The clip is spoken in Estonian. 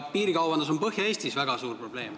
Piirikaubandus on ka Põhja-Eestis väga suur probleem.